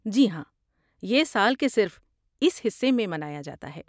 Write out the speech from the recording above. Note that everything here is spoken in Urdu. جی ہاں، یہ سال کے صرف اس حصہ میں منایا جاتا ہے۔